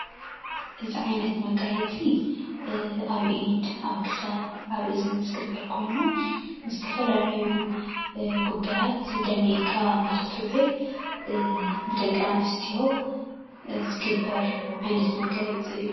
እዚ ዓይነት መጋየፂ ኣብ ኢድ፣ ኣብ ክሳድ፣ ኣብ እዝኒ ዝግበር ኮይኑ ንዝተፈላለዩ ጉዳያት ደሚቕካ ንኽትዉዕል ብደቂ ኣንስትዮ ዝግበር ዓይነት መጋየፂ እዩ።